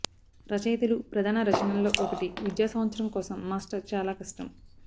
రచయితలు ప్రధాన రచనల్లో ఒకటి విద్యా సంవత్సరం కోసం మాస్టర్ చాలా కష్టం